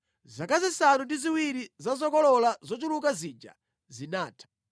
Zaka zisanu ndi ziwiri za zokolola zochuluka zija zinatha,